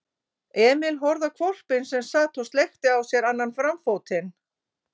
Emil horfði á hvolpinn sem sat og sleikti á sér annan framfótinn.